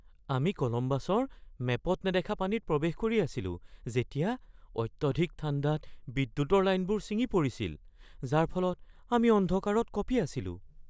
আমি কলম্বাছৰ মেপত নেদেখা পানীত প্ৰৱেশ কৰি আছিলো যেতিয়া অত্যাধিক ঠাণ্ডাত বিদ্যুতৰ লাইনবোৰ ছিঙি পৰিছিল, যাৰ ফলত আমি অন্ধকাৰত কঁপি আছিলোঁ।